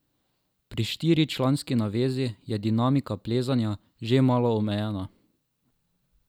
Pri štiričlanski navezi je dinamika plezanja že malo omejena.